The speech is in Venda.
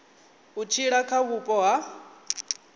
u tshila kha vhupo ho